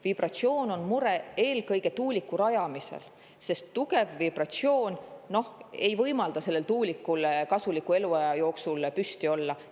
Vibratsiooni mure on eelkõige tuuliku rajamisel, sest tugev vibratsioon ei võimalda tuulikul selle kasuliku eluaja jooksul püsti olla.